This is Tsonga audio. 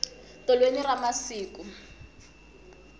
tolweni ra masiku